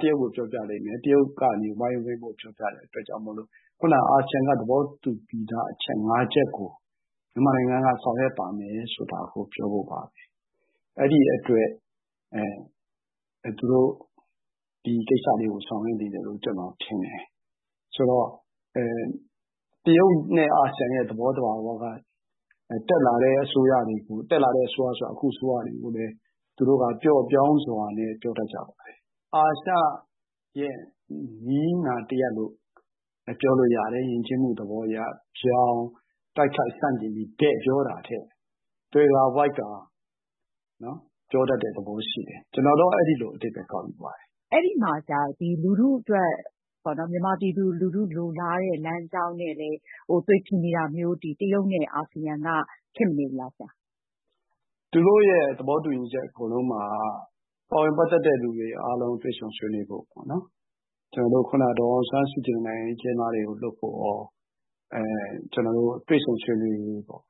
တရုတ်ကို ပြောပြလိမ့်မယ် ၊ တရုတ်ကနေ ပြောပြတဲ့အတွက်ကြောင့်မို့ ခုနက အာဆီယံက သဘောတူပြီးသား အချက် ၅ ချက်ကို မြန်မာနိုင်ငံက ဆောင်ရွပ်ပါမယ်ဆိုတာ ပြောဖို့ပါပဲ ။ အဲဒီအတွက် ဒီကိစ္စတွေကို ဆောင်ရွက်နေတယ်လို့ ကျနော်ထင်တယ်။ ဆိုတော့ တရုတ်နဲ့ အာဆီယံရဲ့ သဘောသဘာဝက တက်လာတဲ့အစိုးရတွေကို တက်လာတဲ့အစိုးရဆိုတာကလည်း အခုအစိုးရကို သူတို့က ပျော့ပျောင်းစွာနဲ့ ပြောကြပါတယ်။ အာရှရဲ့ နည်းနာတရပ်လို့ပြောလို့ရတယ် ၊ ယဉ်ကျေးမှုသဘောအရ ဗြောင်တိုက်ခိုက်ဆန့်ကျင်ပြီး တည့်ပြောတာထက် သွယ်ဝှိက်ကာ ပြောတတ်တဲ့သဘောရှိတယ် ကျနော်တော့ အဲဒီလိုအဓိပ္ပါယ်ကောက်ယူပါတယ်။ အဲဒီမှာဆရာ မြန်မာပြည်သူလူထုလိုလားတဲ့ လမ်းကြောင်းနဲ့လည်း သွေဖည်နေတာမျိုး တရုတ် နဲ့ အာဆီယံက ဖြစ်မနေဘူးလားဆရာ။ သူတို့ရဲ့ သဘောတူညီချက်အကုန်လုံးမှာ ပါဝင်ပတ်သက်တဲ့သူတွေအကုန်လုံး တွေ့ဆုံဆွေးနွေးဖို့ပေါ့နော် ကျနေ်ာတို့ ဒေါ်အောင်ဆန်းစုကြည်နဲ့ နိုင်ငံရေးအကျဉ်းသားတွေကို လွှတ်ဖို့ရော ကျနော်တို့ တွေ့ဆုံဆွေးနွေးရေးပေါ့။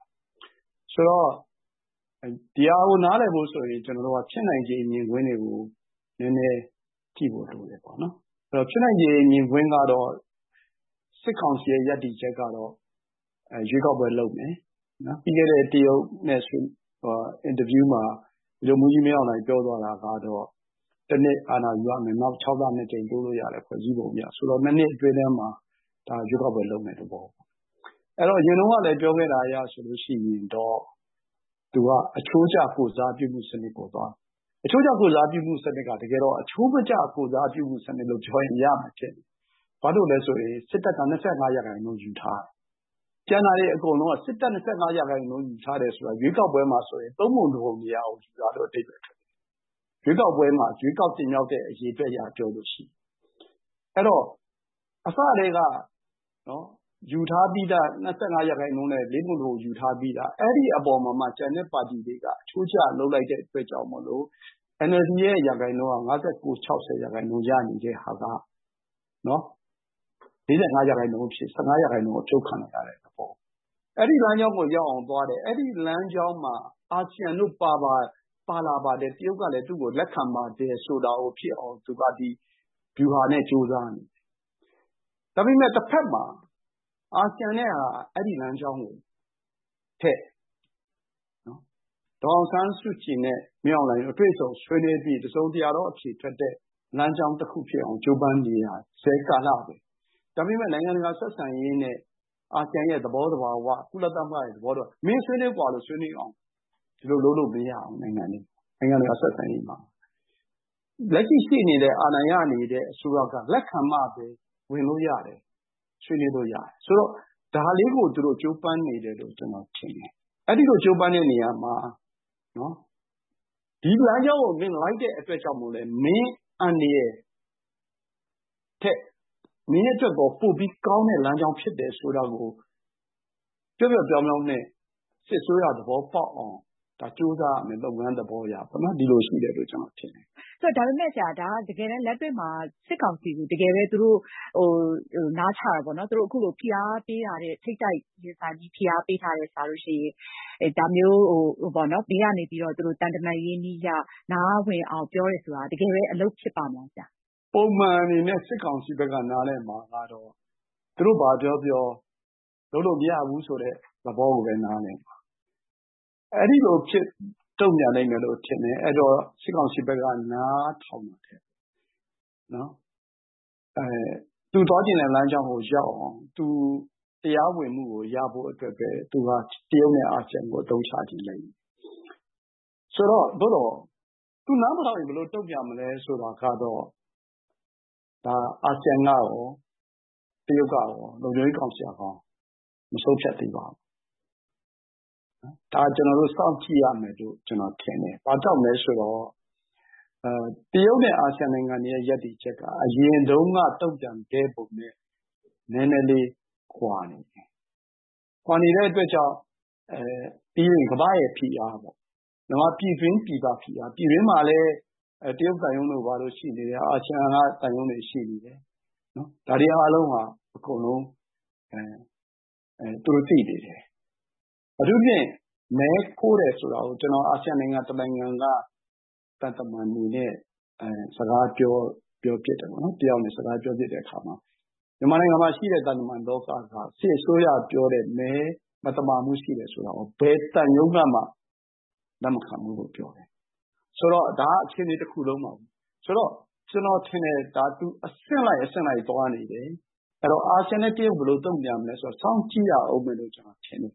ဆိုတော့ ဒါကို နားလည်ဖို့ဆိုရင် ကျနော်တို့ ဖြစ်နိုင်ခြေမြင်ကွင်းတွေကို နည်းနည်းကြည့်ဖို့ လိုတယ်ပေါ့နော်။ အဲဒီတော့ ဖြစ်နိုင်ခြေမြင်ကွင်းကတော့ စစ်ကောင်စီရဲ့ ရပ်တည်ချက်ကတော့ ရွေးကောက်ပွဲလုပ်မယ်။ ပြီးခဲ့တဲ့ တရုတ်နဲ့ ဆွေးနွေးပွဲ အင်တာဗျူးမှာ ဗိုလ်ချုပ်မှူးကြီး မင်းအောင်လှိုင်ပြောသွားတာကတော့ ၁ နှစ်အာဏာယူရမယ် နောက် ၆ လ ၂ ကြိမ်တိုးလို့ရတယ် ဖွဲ့စည်းပုံအရ ဆိုတော့ ၂ နှစ်အတွင်းထဲမှာ ဒါရွေးကောက်ပွဲ လုပ်မယ့်သဘောပေါ့နော်။ အဲဒီတော့ အရင်တုန်းကလည်း ပြောခဲ့တဲ့အရဆိုရင်တော့ သူက အချိုးကျ ကိုယ်စားပြုမယ့်စနစ်ပေါ့။ အချိုးကျ ကိုယ်စားပြုမယ့်စနစ်က တကယ်တော့ အချိုးမကျ ကိုယ်စားပြုမယ့်စနစ်လို့ ပြောလို့ရတယ်။ ဘာလို့လဲဆိုရင် စစ်တပ်က ၂၅ ရာခိုင်နှုန်းယူထားတယ်၊ ကျန်တာတွေအကုန်လုံးက စစ်တပ် ၂၅ ရာခိုင်နှုန်းယူထားတယ်ဆိုတာက ရွေးကောက်ပွဲမှာဆိုရင် ၃ ပုံ ၁ ပုံ မရောက်ဘူး အဓိပ္ပါယ် ။ ရွေးကောက်ပွဲမှာ ရွေးကောက်တင်မြောက်တဲ့ အရေအတွက်အရပြောရင်။ အဲဒီတော့ ယူထားပြီးသား ၂၅ ရာခိုင်နှုန်းနဲ့ ၄ ပုံ ၁ ပုံယူထားပြီးသား အဲဒီအပေါ်မှာ ကျန်တဲ့ပါတီတွေက အချိုးကျလုပ်လိုက်တဲ့အတွက်ကြောင့်မို့ NLD ရာခိုင်နှုန်းက ၅၉-၆၀ ရာခိုင်နှုန်းရနေတဲ့ဟာက ၄၅ ရာခိုင်နှုန်းအဖြစ် ၁၅ ရာခိုင်နှုန်း အဖြုတ်ခံရတဲ့သဘော။ အဲဒီလမ်းကြောင်းကိုရောက်အောင်သွားတယ် ၊ အဲဒီလမ်းကြောင်းမှာ အာဆီယံတို့ပါလာတယ်၊ တရုတ်ကလည်း သူ့ကို လက်ခံပါတယ်ဆိုတာကို ဖြစ်အောင် သူ့ပါတီ ဗျူဟာနဲ့ ကြိုးစားနေတယ်။ ဒါပေမယ့် တဖက်မှာ အာဆီယံနဲ့က အဲဒီလမ်းကြောင်းထက် ဒေါ်အောင်ဆန်းစုကြည်နဲ့ မင်းအောင်လှိုင်တွေ့ဆုံဆွေးနွေးပြီး တစုံတရာသော အဖြေထွက်တဲ့ လမ်းကြောင်းတခုဖြစ်အောင်ကြိုးပမ်းနေရစဲ ကာလပဲ။ ဒါပေမယ့် နိုင်ငံတကာဆက်ဆံရေးနဲ့ အာဆီယံရဲ့ သဘောသဘာ၀ ကုလ သဘောသဘာ၀ ဒီအတိုင်းဝင်ဆွေးနွေးလို့မရဘူး၊ ဒီလိုလုပ်လို့မရဘူး နိုင်ငံတကာ ဆက်ဆံရေးမှာ။ လက်ရှိရှိနေတဲ့ အာဏာရနေတဲ့ အစိုးရက လက်ခံမှပဲ ဝင်လို့ရတယ် ဆွေးနွေးလို့ရတယ်။ ဆိုတော့ ဒါလေးကို ကြိုးပမ်းနေတယ်လို့ ကျနော်ထင်တယ်။ အဲဒီလို ကြိုးပမ်းတဲ့နေရာမှာ ဒီလမ်းကြောင်းကို လိုက်တဲ့အတွက်ကြောင့်မို့လည်း မင်းအန္တရာယ်ထက် မင်းအတွက် ပိုပြီးကောင်းတဲ့ လမ်းကြောင်းဖြစ်တယ်ဆိုတာကို ပျော့ပျော့ပျောင်းပျောင်းနဲ့ စစ်အစိုးရ သဘောပေါက်အောင် ကြိုးစားရမယ် လုပ်ငန်းသဘောအရပေါ့နော် ဒီလိုရှိတယ်လို့ ကျနော်ထင်တယ်။ ဒါပေမယ့်ဆရာ တကယ့်လက်တွေ့မှာ စစ်ကောင်စီကို နားချတာပေါ့နော် ဖိအားပေးင် ထိပ်တိုက်ရင်ဆိုင်တာထက်စာရင် ဘေးကနေပြီးတော့ သံတမန်နည်းအရ နားဝင်အောင် ပြောတာက တကယ်ပဲ အလုပ်ဖြစ်ပါ့မလား။ ပုံမှန်အနေနဲ့ စစ်ကောင်စီဘက်က နားလည်မှာကတော့ သူတို့ဘာပြောပြော လုပ်လို့မရဘူးဆိုတဲ့ သဘောကိုပဲ နားလည်မှာ အဲဒီလိုတုံ့ပြန်လိမ့်မယ်လို့ထင်တယ်။ အဲဒီတော့ စစ်ကောင်စီက သူသွားချင်တဲ့ လမ်းကြောင်းကို ရောက်အောင် သူတရားဝင်မှုကို ရဖို့အတွက်ပဲ သူက တရုတ်နဲ့ အာဆီယံကို အသုံးချခြင်းပဲ ။ ဆိုတော့ သူနားမထောင်ရင် ဘယ်လိုတုံ့ပြန်မလဲ ဆိုတာကတော့ အာဆီယံကရော တရုတ်ကရော ၊ လုံခြုံရေးကောင်စီကရော မဆုံးဖြတ်သေးပါဘူး။ ဒါက ကျနော်တို့ စောင့်ကြည့်ရမယ်လို့ ကျနေ်ာထင်တယ်။ ဘာကြောင့်လဲဆိုတော့ တရုတ်နဲ့ အာဆီယံနိုင်ငံတွေရဲ ရပ်တည်ချက်က အရင်တုန်းက တုံ့ပြန်ခဲ့ပုံနဲ့ နည်းနည်းလေး ကွာနေတယ်။ ကွာနေတဲ့အတွက်ကြောင့် ကမ္ဘာ့ဖိအား မြန်မာပြည်တွင်းပြည်ပဖိအား ၊ ပြည်တွင်းမှာလည်း တရုတ်သံရုံးတို့ဘာတို့ရှိတယ်၊ အာဆီယံ သံရုံးတွေ ရှိနေတယ်။ ဒါတွေအားလုံးဟာ အကုန်လုံး သူတို့ သိနေတယ်။ အထူးသဖြင့် မဲခိုးတယ်ဆိုတာကို အာဆီယံ နိုင်ငံ တနိုင်ငံက သံတမန်တွေနဲ့ စကားပြောဖြစ်တယ်ပေါ့နော် တယောက်နဲ့ ။ အဲလို စကားပြောဖြစ်တဲ့အခါမှာ မြန်မာနိုင်ငံမှာရှိတဲ့ သံတမန်လောက က စစ်အစိုးရပြောတဲ့ မဲမသမာမှုရှိတယ်ဆိုတာကို ဘယ်သံရုံးကမှ လက်မခံဘူးလို့ ပြောတယ်။ ဒါက အခြေအနေတခုလုံးပါပဲ ဆိုတော့ကျနော်ထင်တယ် သူ အဆင့်လိုက်အဆင့်လိုက် သွားနေတယ် ။ အဲဒီတော့ အာဆီယံနဲ့ တရုတ်ဘယ်လိုတုံ့ပြန်မလဲဆိုတာ စောင့်ကြည့်ရဦးမယ်လို့ ကျနော်ထင်တယ်